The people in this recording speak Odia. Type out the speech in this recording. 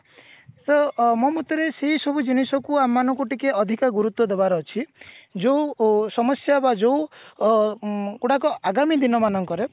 ତ ଅ ମୋ ମତରେ ସେଇ ସବୁ ଜିନିଷ କୁ ଆମ ମାନଙ୍କୁ ଟିକେ ଅଧିକ ଗୁରୁତ୍ଵ ଦେବା ର ଅଛି ଯୋଉ ସମସ୍ଯା ବା ଯୋଉ ଅ ମ ଆଗାମୀ ଦିନମାନଙ୍କରେ